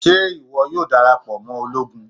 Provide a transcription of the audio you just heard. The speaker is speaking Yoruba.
Ṣe iwọ yoo darapọ mọ ologun?